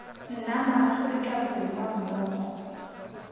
nna ma aforika borwa mmogo